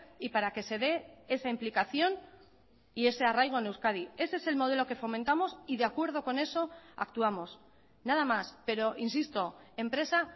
y para que se dé esa implicación y ese arraigo en euskadi ese es el modelo que fomentamos y de acuerdo con eso actuamos nada más pero insisto empresa